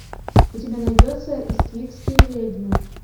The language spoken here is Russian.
у тебя найдется иствикские ведьмы